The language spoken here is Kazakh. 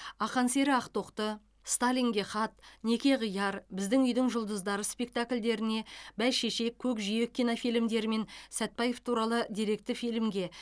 ақан сері ақтоқты сталинге хат неке қияр біздің үйдің жұлдыздары спектакльдеріне бәйшешек көкжиек кинофильмдері мен сәтбаев туралы деректі фильмге